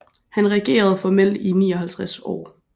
Han regerede formelt i 59 år